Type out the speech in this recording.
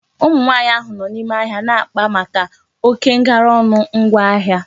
Ụmụ nwaanyị ahụ nọ n'ime ahịa na-akpa maka oké ngara ọnụ ngwa ahịa